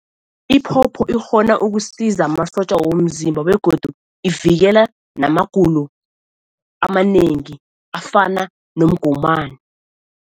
Iphopho ikghona ukusiza amasotja womzimba begodu ivikela namagulo amanengi afana nomgomani.